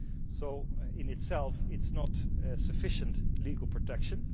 So, in itself, it is not sufficient legal protection.